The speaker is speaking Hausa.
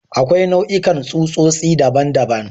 Akwai nau'ikan tsutsotsi daban-daban.